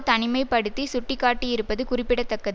தனிமை படுத்தி சுட்டிக்காட்டியிருப்பது குறிப்பிடத்தக்கத்